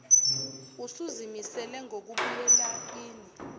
usuzimisele ngokubuyela kini